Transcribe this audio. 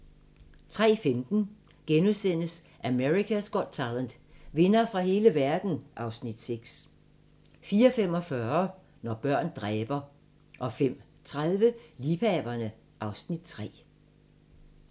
03:15: America's Got Talent - vindere fra hele verden (Afs. 6)* 04:45: Når børn dræber 05:30: Liebhaverne (Afs. 3)